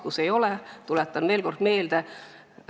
Kus ei ole, tuletan veel kord meelde.